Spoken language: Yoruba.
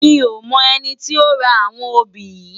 Mi ó mò èni ti ó rá áwòn óbi yi